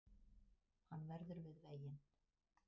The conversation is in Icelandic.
Hann verður við veginn